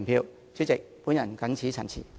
代理主席，我謹此陳辭。